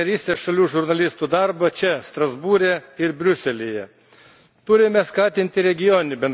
Tam būtina finansuoti Rytų partnerystės šalių žurnalistų darbą čia, Strasbūre ir Briuselyje.